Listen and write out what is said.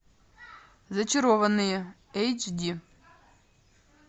зачарованные эйч ди